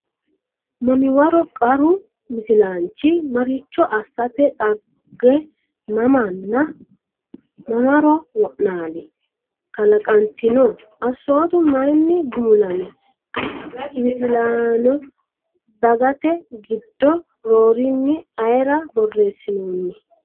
Mamiwaro Qaru Misilaanchi maricho asssate Dhagge mamanna mamaro wo’naali? kalaqantino? Assootu mayinni gumulami? Qara Misilaano Dhaggete giddo roorinni ayre borreessinoonni?